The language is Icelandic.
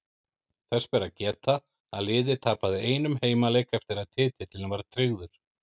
Þess ber að geta að liðið tapaði einum heimaleik eftir að titillinn var tryggður.